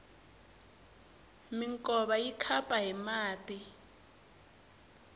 minkova yi khapa hi mati